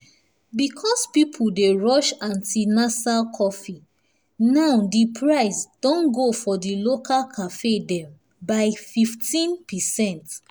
because people wey rush antinasal coffee now diprice don go for di local cafes dem by 15%